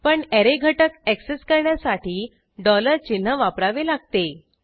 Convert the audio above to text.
पण ऍरे घटक ऍक्सेस करण्यासाठी चिन्ह वापरावे लागते